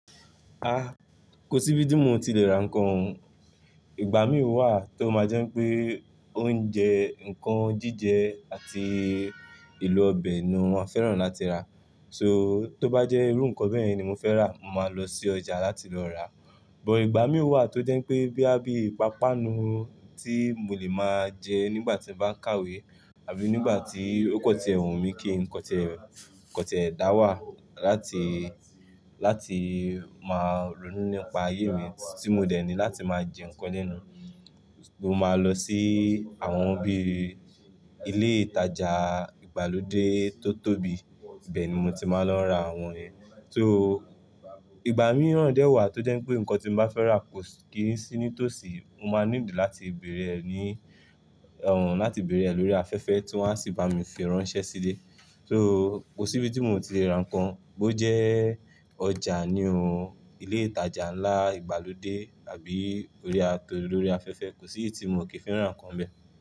Kò síbi tí mo ò ti lè ra nǹkan. Ìgbà mìíràn wà tó máa jẹ́ pé oúnjẹ, nǹkan jíjẹ àti elo ọbẹ̀ ni mo máa fẹ́ràn láti rà. So tó bá jẹ́ irú nǹkan bẹ́yen ni mo fẹ́ rà, mo máa lọ sí ọjà láti lọ rà. But ìgbà mìí wà tó jẹ́ pé boya bíi ipápánu tí mo lè máa jẹ nígbà tí mo bá ń kàwé àbí nígbà tí ó kọtie wun mi kí kan ti kan ti e da wà láti, láti máa ronú nípa ayé mi tí mo dẹ̀ ní láti máa jẹ nǹkan lẹ́nu, mo máa lọ sí àwọn bí i ilé ìtajà ìgbàlódé tó tóbi, ibe ni mo ti máa ń lọ ra àwọn yen. So ìgbà mìíràn dè wà tó jẹ́ pé nǹkan tí mo bá fẹ́ rà kò kí n sí nítòsí, mo máa need láti bẹ̀rẹ̀ ẹ ní, láti bẹ̀rẹ̀ ẹ lórí afẹ́fẹ́ tí wọ́n á sì bá mi fi ránṣẹ́ sílẹ̀. So kò sí ibi tí mo ò ti lè ra nǹkan, bó jẹ́ ọjà nìi ooo, ilé ìtajà ńlá ìgbàlódé àbí orí a- torí orí afẹ́fẹ́, kò sí iye tí mo ò kí fẹ́ràn ra nǹkan bẹ́ẹ̀.